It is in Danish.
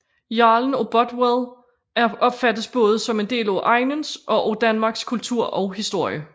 Jarlen af Bothwell opfattes både som en del af egnens og af Danmarks kultur og historie